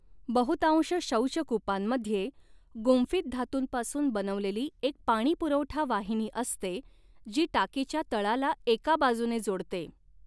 बहुतांश शौचकूपांमध्ये गुंफित धातूंपासून बनवलेली एक पाणी पुरवठा वाहिनी असते जी टाकीच्या तळाला एका बाजूने जोडते.